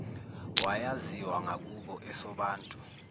wayaziwa ngakubo esobantu